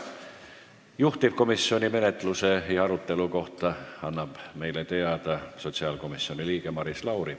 Juhtivkomisjoni menetluse ja arutelu kohta annab meile teada sotsiaalkomisjoni liige Maris Lauri.